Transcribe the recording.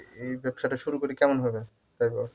এই ব্যবসাটা শুরু করি কেমন হবে তাই বল